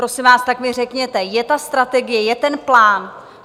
Prosím vás, tak mi řekněte, je ta strategie, je ten plán?